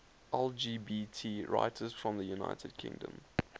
lgbt writers from the united kingdom